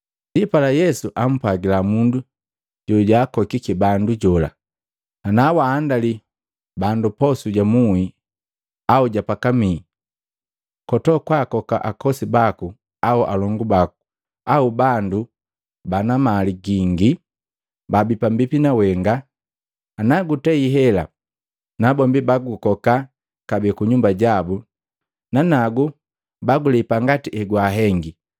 Ndipala Yesu ampwagila mundu jojaakokiki bandu jola, “Ana waandali bandu posu ja muhi au pakamii, kotokwaakoka akosi baku au alongu baku au bandu bana mali gingi babii pambipi nawenga. Nagutei hela, nabombi bagukoka kabee ku nyumba jabu, nanagu bagulepa ngati egwahengi.